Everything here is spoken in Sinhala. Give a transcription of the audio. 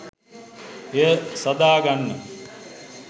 එය සාදාගන්න.